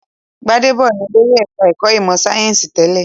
Gbádédọ̀ ni olórí ẹ̀ka-ẹ̀kọ́ ìmọ̀-sáyẹ́ńsì tẹ́lẹ̀.